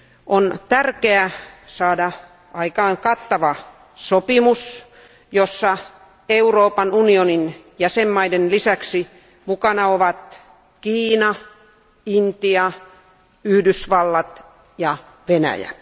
On tärkeä saada aikaan kattava sopimus, jossa Euroopan unionin jäsenvaltioiden lisäksi mukana ovat Kiina, Intia, Yhdysvallat ja Venäjä.